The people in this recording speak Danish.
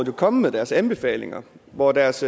jo kommet med deres anbefalinger og deres